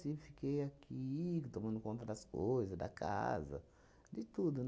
Tive fiquei aqui, tomando conta das coisas, da casa, de tudo.